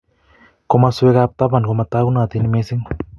Komaswekab taban komatakunotin mising